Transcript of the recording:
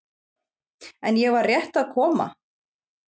En ég var rétt að koma.